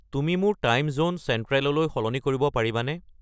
তুমি মোৰ time zone চেণ্ট্ৰেললৈ সলনি কৰিব পাৰিবানে